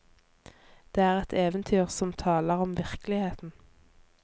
Det er et eventyr som taler om virkeligheten.